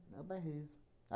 É o bairrismo.